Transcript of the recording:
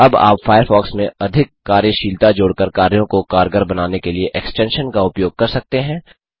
अब आप फ़ायरफ़ॉक्स में अधिक कार्यशीलता जोड़कर कार्यों को कारगर बनाने के लिए एक्सटेंशन्स का उपयोग कर सकते हैं